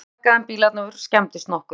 Engan sakaði en bílarnir skemmdust nokkuð